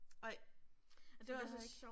Ej. Og det var altså også